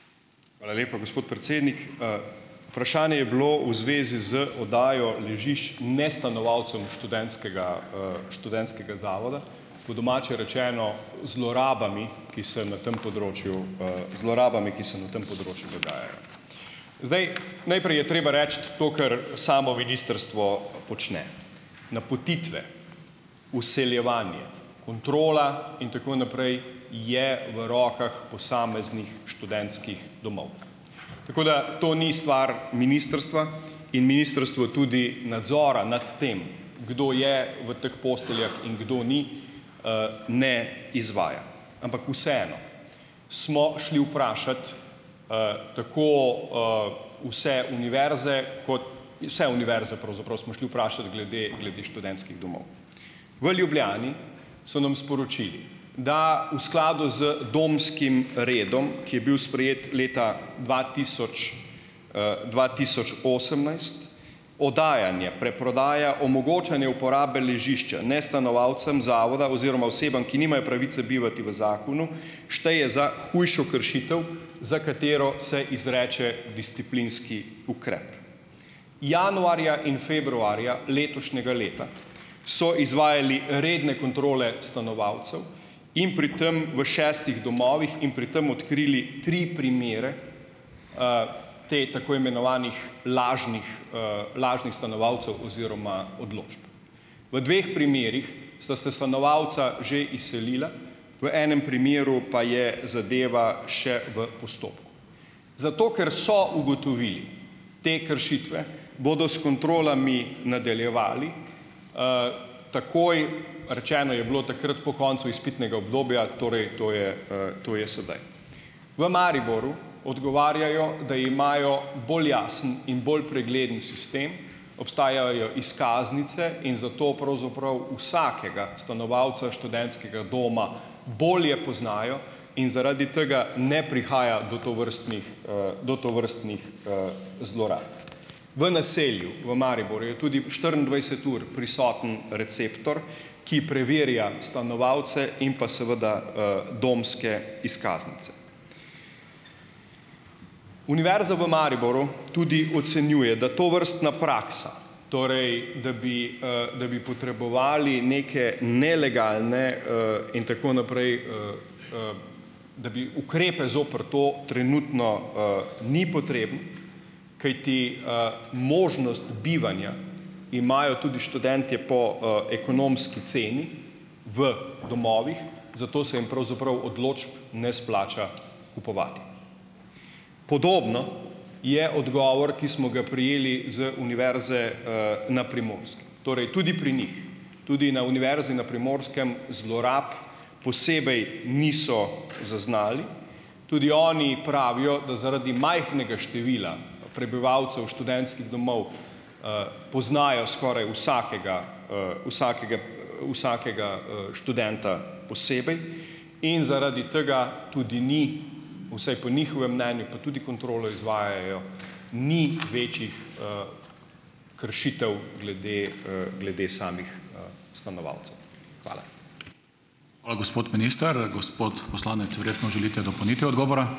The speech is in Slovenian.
Hvala lepa, gospod predsednik. Vprašanje je bilo v zvezi z oddajo ležišč nestanovalcem študentskega, študentskega zavoda. Po domače rečeno, zlorabami, ki se na tem področju, zlorabami, ki se na tem področju dogajajo. Zdaj. Najprej je treba reči to, kar samo ministrstvo počne. Napotitve, vseljevanje, kontrola in tako naprej je v rokah posameznih študentskih domov. Tako da to ni stvar ministrstva in ministrstvo tudi nadzora nad tem, kdo je v teh posteljah in kdo ni, ne izvaja, ampak vseeno. Smo šli vprašat tako vse univerze, ko vse univerze pravzaprav smo šli vprašat glede glede študentskih domov. V Ljubljani so nam sporočili, da v skladu z domskim redom, ki je bil sprejet leta dva tisoč dva tisoč osemnajst oddajanje, preprodaja, omogočanje uporabe ležišča nestanovalcem zavoda oziroma osebam, ki nimajo pravice bivati v zakonu, šteje za hujšo kršitev, za katero se izreče disciplinski ukrep. Januarja in februarja letošnjega leta so izvajali redne kontrole stanovalcev in pri tem v šestih domovih in pri tem odkrili tri primere teh tako imenovanih lažnih, lažnih stanovalcev oziroma odločb. V dveh primerih sta se stanovalca že izselila, v enem primeru pa je zadeva še v postopku. Zato, ker so ugotovili te kršitve, bodo s kontrolami nadaljevali takoj, rečeno je bilo takrat po koncu izpitnega obdobja, torej to je, to je sedaj. V Mariboru odgovarjajo, da imajo bolj jasen in bolj pregleden sistem. Obstajajo izkaznice in zato pravzaprav vsakega stanovalca študentskega doma bolje poznajo in zaradi tega ne prihaja do tovrstnih, do tovrstnih, zlorab. V naselju v Mariboru je tudi štiriindvajset ur prisoten receptor, ki preverja stanovalce in pa seveda domske izkaznice. Univerza v Mariboru tudi ocenjuje, da tovrstna praksa, torej da bi, da bi potrebovali neke nelegalne, in tako naprej, da bi ukrepe zoper to trenutno, ni potrebno, kajti, možnost bivanja imajo tudi študentje po, ekonomski ceni v domovih, zato se jim pravzaprav odločb ne splača kupovati. Podoben je odgovor, ki smo ga prejeli z Univerze, na Primorskem. Torej tudi pri njih, tudi na Univerzi na Primorskem zlorab posebej niso zaznali. Tudi oni pravijo, da zaradi majhnega števila prebivalcev študentskih domov poznajo skoraj vsakega študenta posebej. In zaradi tega tudi ni, vsaj po njihovem mnenju, pa tudi kontrolo izvajajo, ni večjih kršitev glede, glede samih, stanovalcev. Hvala.